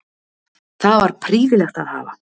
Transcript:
Það var prýðilegt að hafa